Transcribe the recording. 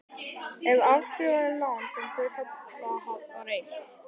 ef afskrifað er lán sem hluthafa var veitt.